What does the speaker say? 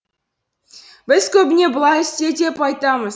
біз көбіне былай істе деп айтамыз